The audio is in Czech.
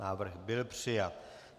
Návrh byl přijat.